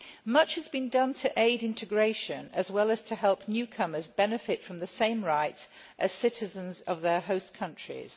Much has been done to aid integration, as well as to help newcomers benefit from the same rights as citizens of their host countries.